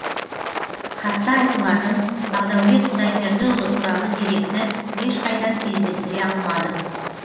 хатта айтылатын бағдәулет құдайбердіұлы туралы деректі ешқайдан кездестіре алмадым